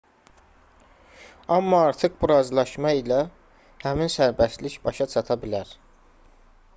amma artıq bu razılaşma ilə həmin sərbəstlik başa çata bilər